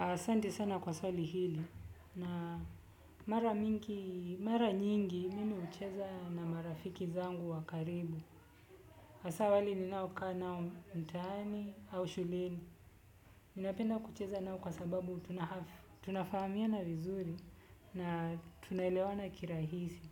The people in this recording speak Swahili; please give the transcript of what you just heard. Asanti sana kwa swali hili na mara mara nyingi mimi hucheza na marafiki zangu wa karibu. Hasa wale ninaokaa nao mtaani au shuleni. Ninapenda kucheza nao kwa sababu tunafahamiana vizuri na tunaelewana kirahisi.